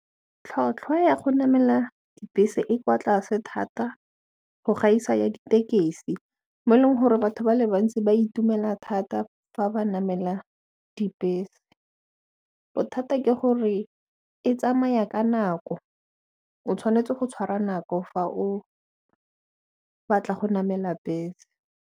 Tlhotlhwa ya go namela bese e kwa tlase thata go gaisa ya ditekesi mo e leng gore batho ba le bantsi ba itumela thata fa ba namela dibese bothata ke gore e tsamaya ka nako o tshwanetse go tshwara nako fa o batla go namela bese.